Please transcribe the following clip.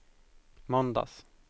måndags